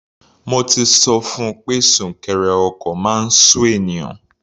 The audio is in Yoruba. Mo ti sọ fun pé súnkẹrẹ ọkọ̀ máa ń sú ènìyàn.